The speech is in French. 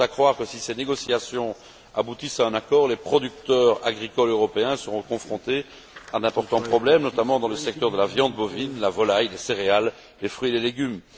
Tout porte à croire que, si ces négociations aboutissent à un accord, les producteurs agricoles européens seront confrontés à d'importants problèmes, notamment dans les secteurs de la viande bovine, de la volaille, des céréales et des fruits et légumes.